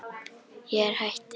Ég er hætt því.